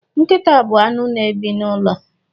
Nkita bu anụ na ebi na ụlọ lo